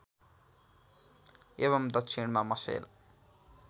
एवम् दक्षिणमा मसेल